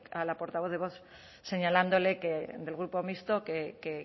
a la portavoz de vox señalándole que del grupo mixto que